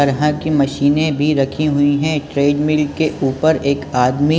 तरह की मशीनें भी रखी हुई है ट्रेड मिल के ऊपर एक आदमी --